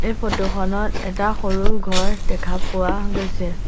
এই ফটো খনত এটা সৰু ঘৰ দেখা পোৱা গৈছে।